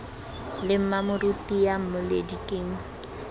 le mmamoruti ya mmoledi ke